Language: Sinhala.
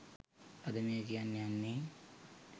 අද මේ කියන්නේ යන්නේ